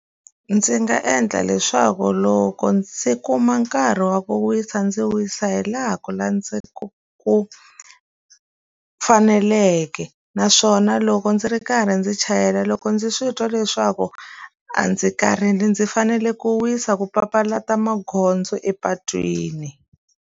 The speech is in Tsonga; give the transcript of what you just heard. Ndzi nga endla leswaku loko ndzi kuma nkarhi wa ku wisa ndzi wisa hi laha ku ndzi ku ku faneleke naswona loko ndzi ri karhi ndzi chayela loko ndzi swi twa leswaku a ndzi karhele ndzi fanele ku wisa ku papalata magondzo epatwini.